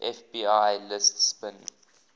fbi lists bin